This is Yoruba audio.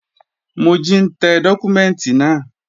Mojí ń tẹ dọ́kúmẹ́ǹtì náà